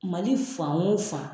Mali fan o fan